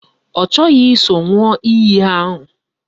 Ọ chọghị iso ṅụọ iyi ahụ